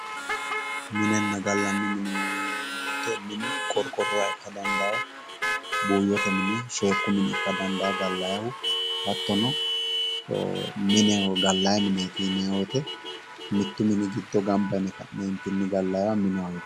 minenna gallanni mine yinanni wote minu qorqorronniha ikka dandaanno buuyyote mine sheekku mine ikka dandaanno gallanihu hattono mineho gallanni mineeti yinanni wote mittu mini giddo gamba yine gallanniha mineho yinanni.